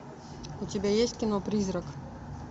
у тебя есть кино призрак